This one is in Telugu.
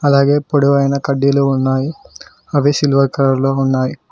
అలాగే పొడవైన కడ్డీలు ఉన్నాయి అవి సిల్వర్ కలర్ లో ఉన్నాయి.